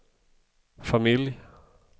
familj